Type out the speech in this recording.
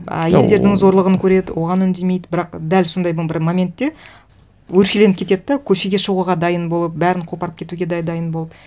а елдердің зорлығын көреді оған үндемейді бірақ дәл сондайдың бір моментте өршеленіп кетеді де көшеге шығуға дайын болып бәрін қопарып кетуге де дайын болып